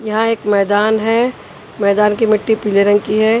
यहाँ एक मैदान है मैदान की मिट्टी पीले रंग की है।